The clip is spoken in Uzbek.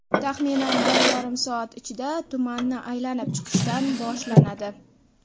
Taxminan bir yarim soat ichida tumanni aylanib chiqishdan boshlanadi.